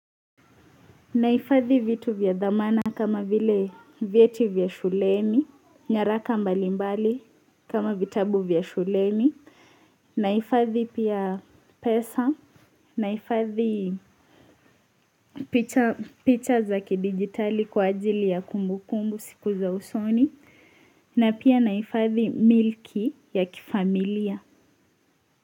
Nahifadhi vitu vya dhamana kama vile vyeti vya shuleni nyaraka mbalimbali kama vitabu vya shuleni nahifadhi pia pesa nahifadhi picha za kidijitali kwa ajili ya kumbukumbu siku za usoni na pia nahifadhi milki ya kifamilia.